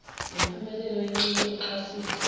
lempumelelo yencike oxhasweni